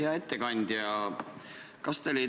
Hea ettekandja!